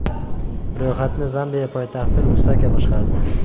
Ro‘yxatni Zambiya poytaxti Lusaka boshqardi.